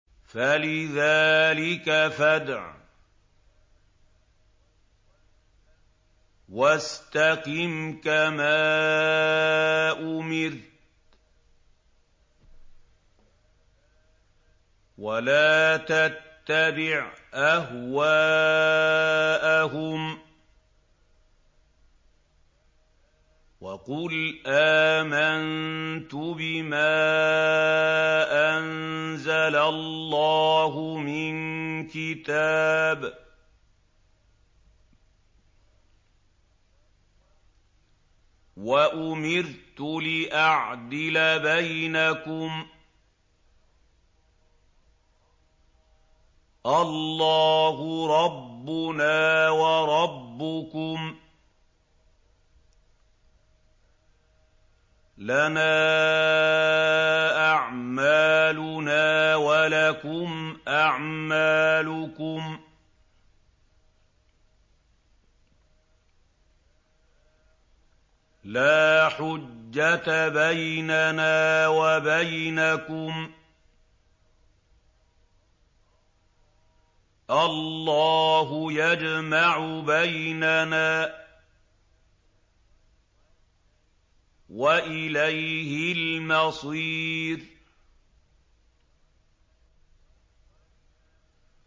فَلِذَٰلِكَ فَادْعُ ۖ وَاسْتَقِمْ كَمَا أُمِرْتَ ۖ وَلَا تَتَّبِعْ أَهْوَاءَهُمْ ۖ وَقُلْ آمَنتُ بِمَا أَنزَلَ اللَّهُ مِن كِتَابٍ ۖ وَأُمِرْتُ لِأَعْدِلَ بَيْنَكُمُ ۖ اللَّهُ رَبُّنَا وَرَبُّكُمْ ۖ لَنَا أَعْمَالُنَا وَلَكُمْ أَعْمَالُكُمْ ۖ لَا حُجَّةَ بَيْنَنَا وَبَيْنَكُمُ ۖ اللَّهُ يَجْمَعُ بَيْنَنَا ۖ وَإِلَيْهِ الْمَصِيرُ